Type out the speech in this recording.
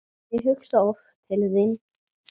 Ég hugsa oft til þín.